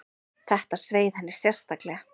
Þetta sveið henni sérstaklega.